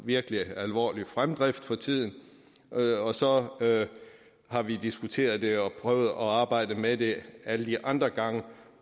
virkelig alvorlig fremdrift for tiden og så har vi diskuteret det og prøvet at arbejde med det alle de andre gange